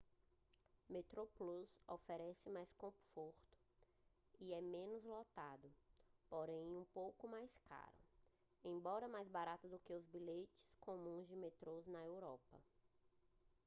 metroplus oferece mais conforto e é menos lotado porém é um pouco mais caro embora mais barato do que os bilhetes comuns de metrô na europa